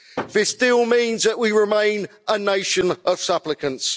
This deal means that we remain a nation of supplicants.